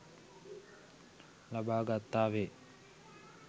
ලබා ගත්තා වේ.